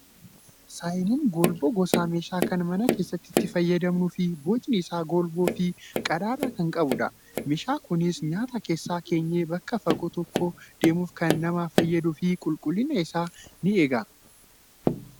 Saayiniin golboo gosa meeshaa kan mana keessatti itti fayyadamnuu fi bocni isaa golboo fi qadaada kan qabudha. Meeshaan kunis nyaata keessa keenyee bakka fagoo tokko deemuuf kan nama fayyaduu fi qulqullina isaas ni eega.